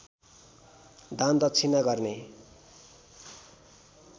दानदक्षिणा गर्ने